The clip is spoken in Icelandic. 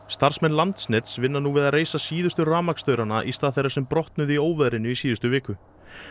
starfsmenn Landsnets vinna nú við að reisa síðustu rafmagnsstaurana í stað þeirra sem brotnuðu í óveðrinu í síðustu viku